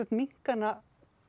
minnka hana